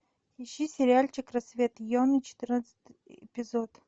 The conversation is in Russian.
ищи сериальчик рассвет йоны четырнадцатый эпизод